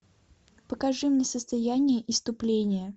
покажи мне состояние исступления